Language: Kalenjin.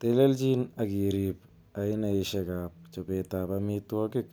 Telelchin ak irib ainaisiek ab chobetab amitwogik